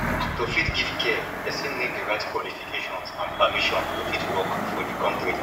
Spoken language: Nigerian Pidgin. to fit give care persin need di right qualifications and permisson to fit work for di country